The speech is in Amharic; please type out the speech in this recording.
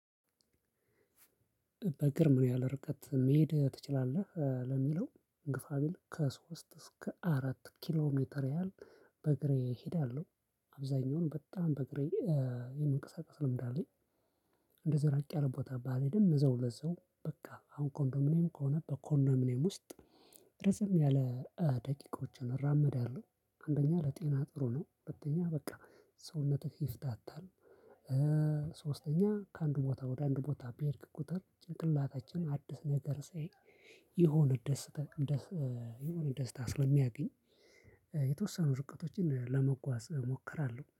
በግር ምን ያህል ርቀት መሄድ ትችላለህ ለሚለው ግፋ ቢል ከሶስት እስከ አራት ኪሎ ሜትር ያህል በእግሬ እሄዳለሁ አብዛኛውን በጣም በእግሬ የመንቀሳቀስ ልምድ አለኝ። እንደዚ ራቅ ያለ ቦታ ባልሄድም እዛው ለዛው በቃ አሁን ኮንዶሚኒየም ከሆነ በኮንደሚኔም ውስጥ። ረዘም ያለ ደቂቃዎችን እራመዳለው አንደኛ ለጤና ጥሩ ነው። ሁለተኛ በቃ ሰውነትህ ይፍታታል። ሶስተኛ ከአንዱ ቦታ ወደ አንዱ ቦታ ቢሄድክ ቁጥር ጭንቅላታችን አዲስ ነገር ሲያይ የሆነ ደስታ የሆነ ደስታ ስለሚያገኝ። የተወሰኑ ርቀቶችን ለመጓዝ እሞክራለሁ